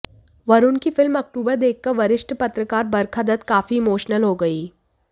वरुण की film October देखकर वरिष्ठ पत्रकार बरखा दत्त काफी इमोशनल हो गईं